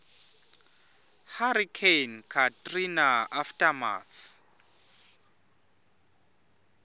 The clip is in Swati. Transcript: hurricane katrina aftermath